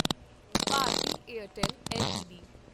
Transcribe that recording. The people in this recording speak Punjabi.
Bharatiya Airtel LTD